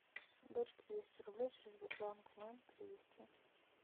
дочке двести рублей через сбербанк онлайн перевести